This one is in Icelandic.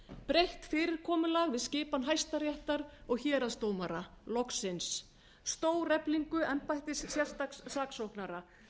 breytt fyrirkomulag við skipan hæstaréttar og héraðsdómara loksins stóreflingu embættis sérstaks saksóknara sem nú